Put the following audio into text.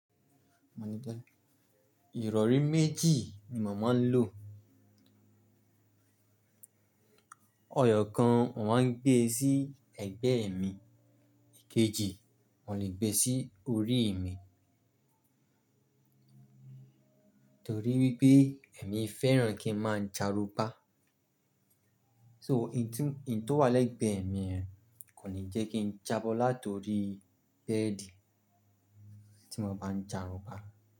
Ìrọ̀rí méjì ni mà máa ń lò. Eyọ́ kan mo màá ń gbé sí ẹ̀gbeẹ́ mi, ikejì mo lè gbé sí orií mi. Torí wípé èmi fẹ́ràn kí n máa ń jarunpa. So n tu, ǹ tó wà lẹ́gbẹ̀ẹ́ mi yen kò ní jẹ́ kí n jábọ́ látorií bẹ́ẹ̀dì tí mo bá ń jarunpa.